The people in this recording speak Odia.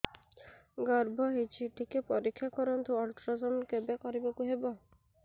ଗର୍ଭ ହେଇଚି ଟିକେ ପରିକ୍ଷା କରନ୍ତୁ ଅଲଟ୍ରାସାଉଣ୍ଡ କେବେ କରିବାକୁ ହବ